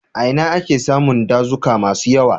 A ina ake samun dazuka masu yawa?